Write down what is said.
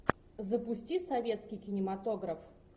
запусти советский кинематограф